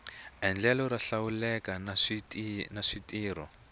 endlelo ro hlawuleka na switirho